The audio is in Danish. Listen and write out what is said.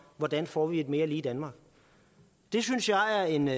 hvordan vi får et mere lige danmark det synes jeg er en